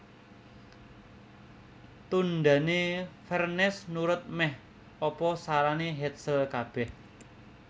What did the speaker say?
Tundhané Vernes nurut mèh apa sarané Hetzel kabèh